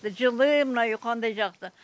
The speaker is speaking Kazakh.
жылы мына үй қандай жақсы